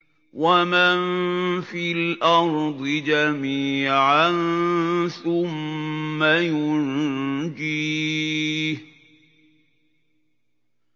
وَمَن فِي الْأَرْضِ جَمِيعًا ثُمَّ يُنجِيهِ